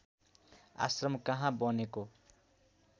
आश्रम कहाँ बनेको